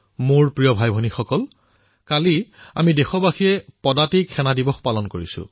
মোৰ মৰমৰ ভাতৃভগ্নীসকল কালি আমি সকলো দেশবাসীয়ে ইনফেণ্ট্ৰী ডে পালন কৰিলো